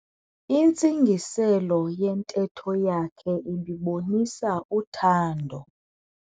Intsingiselo yentetho yakhe ibibonisa uthando.